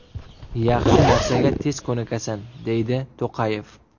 Yaxshi narsaga tez ko‘nikasan”, deydi To‘qayev.